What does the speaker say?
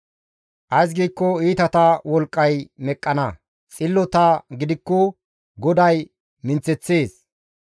Ays giikko iitata wolqqay meqqana; xillota gidikko GODAY minththeththees.